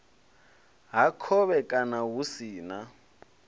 ha khovhekano hu si na